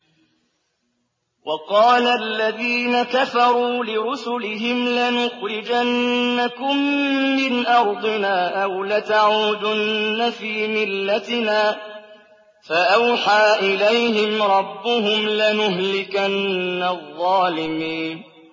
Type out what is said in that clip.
وَقَالَ الَّذِينَ كَفَرُوا لِرُسُلِهِمْ لَنُخْرِجَنَّكُم مِّنْ أَرْضِنَا أَوْ لَتَعُودُنَّ فِي مِلَّتِنَا ۖ فَأَوْحَىٰ إِلَيْهِمْ رَبُّهُمْ لَنُهْلِكَنَّ الظَّالِمِينَ